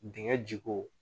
Dingɛ ji ko